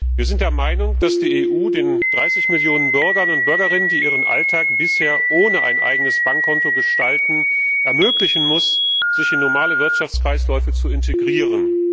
Wir sind der Meinung, dass die EU den 30 Millionen Bürgerinnen und Bürgern, die ihren Alltag bisher ohne ein eigenes Bankkonto gestalten, ermöglichen muss, sich in normale Wirtschaftskreisläufe zu integrieren.